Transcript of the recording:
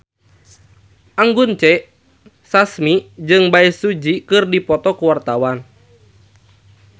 Anggun C. Sasmi jeung Bae Su Ji keur dipoto ku wartawan